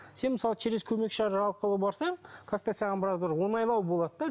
сен мысалы через көмекші арқылы барсаң как то саған біраз уже оңайлау болады да